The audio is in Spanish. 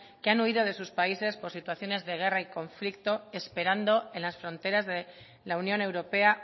que han huido de sus países por situaciones de guerra y conflicto esperando en las fronteras de la unión europea